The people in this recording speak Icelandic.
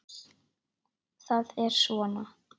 Það er svona